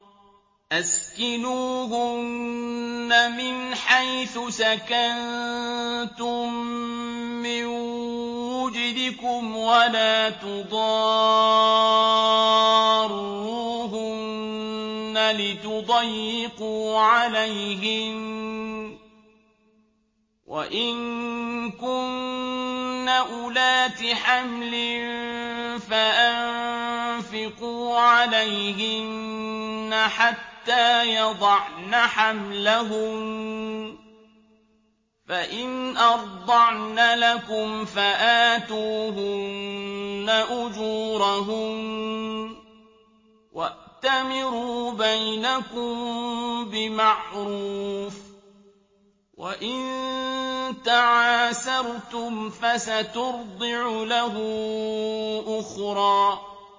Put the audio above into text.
أَسْكِنُوهُنَّ مِنْ حَيْثُ سَكَنتُم مِّن وُجْدِكُمْ وَلَا تُضَارُّوهُنَّ لِتُضَيِّقُوا عَلَيْهِنَّ ۚ وَإِن كُنَّ أُولَاتِ حَمْلٍ فَأَنفِقُوا عَلَيْهِنَّ حَتَّىٰ يَضَعْنَ حَمْلَهُنَّ ۚ فَإِنْ أَرْضَعْنَ لَكُمْ فَآتُوهُنَّ أُجُورَهُنَّ ۖ وَأْتَمِرُوا بَيْنَكُم بِمَعْرُوفٍ ۖ وَإِن تَعَاسَرْتُمْ فَسَتُرْضِعُ لَهُ أُخْرَىٰ